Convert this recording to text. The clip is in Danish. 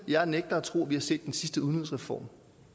jeg nægter at tro at vi har set den sidste udligningsreform